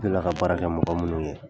N delila ka baara kɛ mɔgɔ munnu yen.